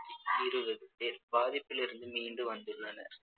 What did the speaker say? இருபது பேர் பாதிப்பிலிருந்து மீண்டு வந்துள்ளனர்